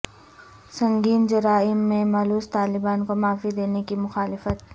سنگین جرائم میں ملوث طالبان کو معافی دینے کی مخالفت